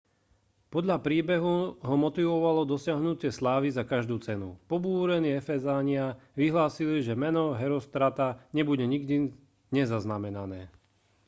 podľa príbehu ho motivovalo dosiahnutie slávy za každú cenu pobúrení efezania vyhlásili že meno herostrata nebude nikdy nezaznamené